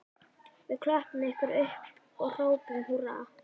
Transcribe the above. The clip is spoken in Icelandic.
Við klöppum ykkur upp og hrópum húrra